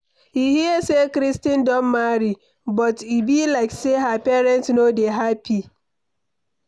You hear say Christine don marry? But e be like say her parents no dey happy.